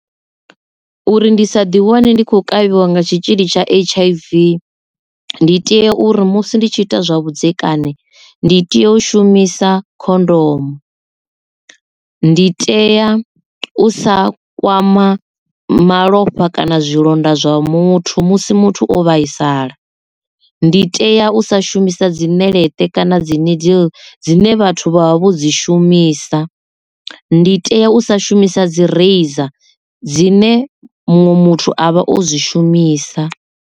Uri ndi sa ḓi wane ndi khou kavhiwa nga tshitzhili tsha H_I_V ndi tea uri musi ndi tshi ita zwa vhudzekani ndi tea u shumisa khondomo. Ndi tea u sa kwama malofha kana zwilonda zwa muthu musi muthu o vhaisala. Ndi tea u sa shumisa dzi ṋeleṱe kana dzi needle dzine vhathu vha vha vho dzi shumisa. Ndi tea u sa shumisa dzi razor dzine muṅwe muthu avha o zwishumisa.